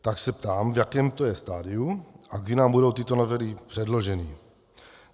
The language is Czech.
Tak se ptám, v jakém to je stadiu a kdy nám budou tyto novely předloženy.